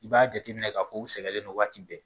I b'a jateminɛ k'a fɔ u sɛgɛlen waati bɛɛ